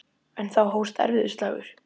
En þá hófst erfiður slagur.